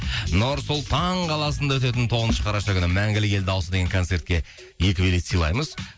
нұр сұлтан қаласында өтетін тоғызыншы қараша күні мәңгілік ел дауысы деген концертке екі билет сыйлаймыз